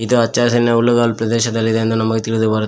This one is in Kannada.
ಇದು ಅಚ್ಚ ಹಸಿರಿನ ಹುಲ್ಲುಗಳ ಪ್ರದೇಶದಲ್ಲಿ ಇದೆ ಎಂದು ನಮಗೆ ತಿಳಿದು ಬರುತ್ತೆ.